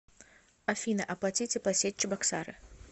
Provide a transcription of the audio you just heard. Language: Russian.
афина оплати теплосеть чебоксары